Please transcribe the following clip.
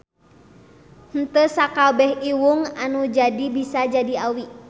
Henteu sakabeh iwung anu jadi bisa jadi awi.